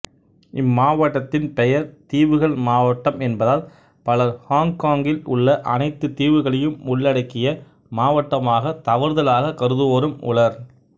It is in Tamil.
இம்மாவட்டத்தின் பெயர் தீவுகள் மாவட்டம் என்பதால் பலர் ஹொங்கொங்கில் உள்ள அனைத்து தீவுகளையும் உள்ளடக்கிய மாவட்டமாக தவறுதலாகக் கருதுவோரும் உளர்